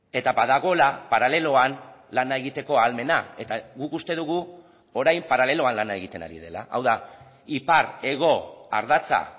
eta badagoela paraleloan lana egiteko ahalmena eta guk uste dugu orain paraleloan lana egiten ari dela hau da ipar hego ardatza